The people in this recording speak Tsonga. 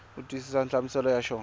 u twisisa nhlamuselo ya xona